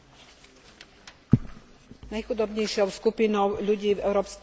Najchudobnejšou skupinou ľudí v Európskej únii sú určite Rómovia.